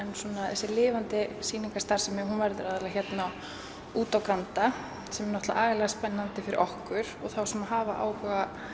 þessi lifandi sýningarstarfsemi verður aðallega hérna úti á Granda sem er agalega spennandi fyrir okkur og þá sem hafa áhuga